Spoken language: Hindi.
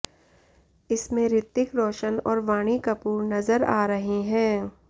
इसमें ऋतिक रोशन और वाणी कपूर नजर आ रहे हैं